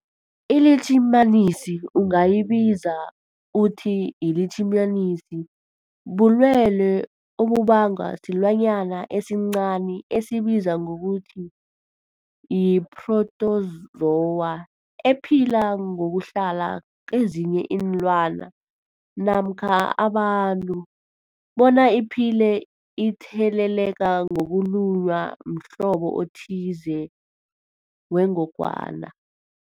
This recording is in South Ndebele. ILitjhimanisi ungayibiza uthiyilitjhimanisi, bulwelwe obubangwa silwanyana esincani esibizwa ngokuthiyi-phrotozowa ephila ngokuhlala kezinye iinlwana namkha abantu bona iphile itheleleka ngokulunywa mhlobo othize wengogwana.